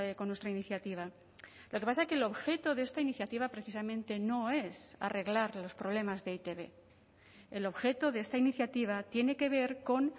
con nuestra iniciativa lo que pasa es que el objeto de esta iniciativa precisamente no es arreglar los problemas de e i te be el objeto de esta iniciativa tiene que ver con